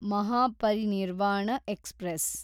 Mahaparinirvana express